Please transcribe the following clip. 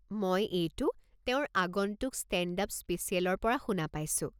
মই এইটো তেওঁৰ আগন্তুক ষ্টেণ্ড আপ স্পেচিয়েলৰ পৰা শুনা পাইছোঁ।